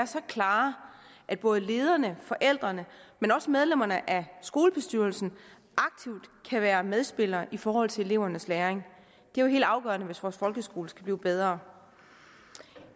så klare at både lederne forældrene men også medlemmerne af skolebestyrelserne aktivt kan være medspillere i forhold til elevernes læring det er jo helt afgørende hvis vores folkeskole skal blive bedre jeg